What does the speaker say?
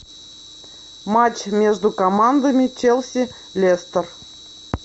матч между командами челси лестер